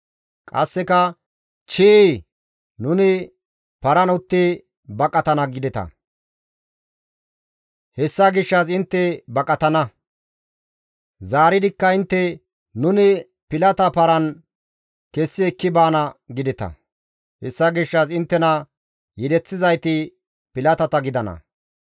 Qasseka, ‹Chii! Nuni paran utti baqatana› gideta; hessa gishshas intte baqatana. Zaaridikka intte, ‹Nuni pilata paran kessi ekki baana› gideta; hessa gishshas inttena yedeththizayti pilatata gidana.